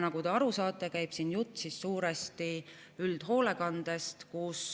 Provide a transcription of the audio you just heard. Nagu te aru saate, käib siin jutt suuresti üldhoolekandest.